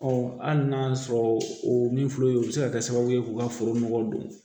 hali n'a y'a sɔrɔ o min filɛ o ye o bɛ se ka kɛ sababu ye k'u ka foro nɔgɔ don